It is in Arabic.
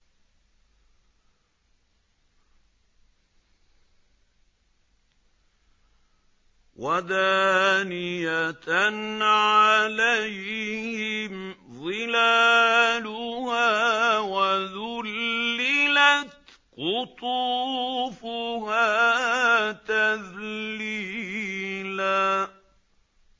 وَدَانِيَةً عَلَيْهِمْ ظِلَالُهَا وَذُلِّلَتْ قُطُوفُهَا تَذْلِيلًا